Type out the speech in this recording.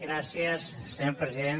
gràcies senyor president